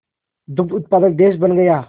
दुग्ध उत्पादक देश बन गया